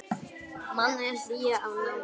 Mannleg hlýja og nánd.